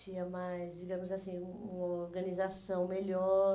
Tinha mais, digamos assim, hum uma organização melhor.